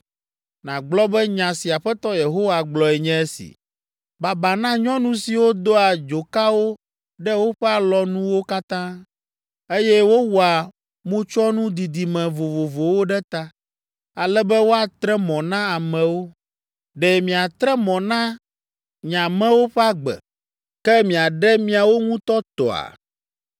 nàgblɔ be nya si Aƒetɔ Yehowa gblɔe nye esi, ‘Baba na nyɔnu siwo doa dzokawo ɖe woƒe alɔnuwo katã, eye wowɔa motsyɔnu didime vovovowo ɖe ta, ale be woatre mɔ na amewo. Ɖe miatre mɔ na nye amewo ƒe agbe, ke miaɖe miawo ŋutɔ tɔa?